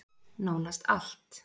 Nánast allt.